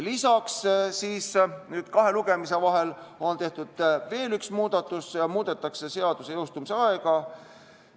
Lisaks on kahe lugemise vahel tehtud veel üks muudatus: muudetakse seaduse jõustumise aega.